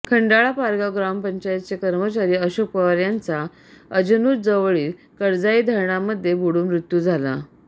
खंडाळा पारगाव ग्रामपंचायतचे कर्मचारी अशोक पवार यांचा अजनुज जवळील कडजाई धरणामध्ये बुडून मृत्यू झाला